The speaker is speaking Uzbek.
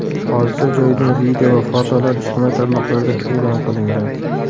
Hodisa joyidan video va fotolar ijtimoiy tarmoqlarda e’lon qilingan.